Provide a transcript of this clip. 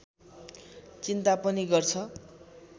चिन्ता पनि गर्छ